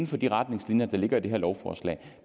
for de retningslinjer der ligger i det her lovforslag